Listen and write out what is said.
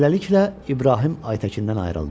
Beləliklə, İbrahim Aytəkindən ayrıldı.